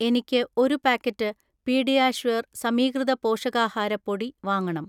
എനിക്ക് ഒരു packet PediaSure സമീകൃത പോഷകാഹാര പൊടി വാങ്ങണം